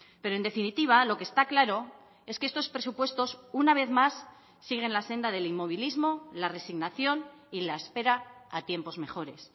pero en definitiva lo que está claro es que estos presupuestos una vez más siguen la senda del inmovilismo la resignación y la espera a tiempos mejores